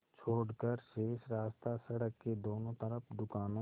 छोड़कर शेष रास्ता सड़क के दोनों तरफ़ दुकानों